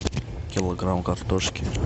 килограмм картошки